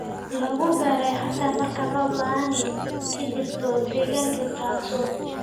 lagu beeray xataa marka roob la'aani ka jirto deegaanka taasoo